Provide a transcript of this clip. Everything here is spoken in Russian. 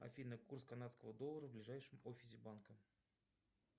афина курс канадского доллара в ближайшем офисе банка